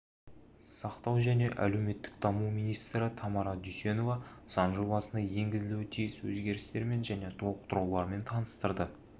сақтау және әлеуметтік даму министрі тамара дүйсенова заң жобасына енгізілуі тиіс өзгерістермен және толықтырулармен таныстырды